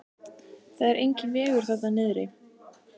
Það er enginn vegur þarna niðri.